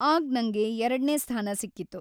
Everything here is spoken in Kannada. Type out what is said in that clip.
ಆಗ್ ನಂಗೆ ಎರಡ್ನೇ ಸ್ಥಾನ ಸಿಕ್ಕಿತ್ತು.